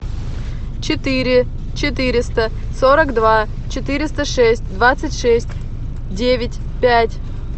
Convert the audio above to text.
четыре четыреста сорок два четыреста шесть двадцать шесть девять пять